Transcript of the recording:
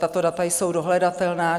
Tato data jsou dohledatelná.